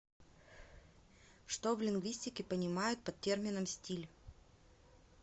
что в лингвистике понимают под термином стиль